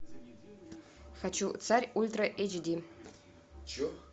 хочу царь ультра эйч ди